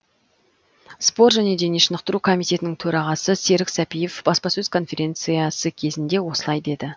спорт және дене шынықтыру комитетінің төрағасы серік сәпиев баспасөз конференциясы кезінде осылай деді